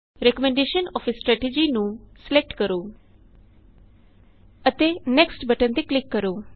recommendation of a strategy ਨੂੰ select ਕਰੋ ਅਤੇ ਨੈਕਸਟ ਬਟਨ ਤੇ ਕਲਿਕ ਕਰੋ